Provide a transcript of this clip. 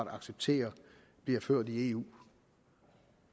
accepterer bliver ført i eu